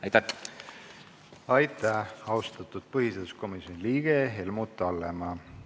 Aitäh, austatud põhiseaduskomisjoni liige Helmut Hallemaa!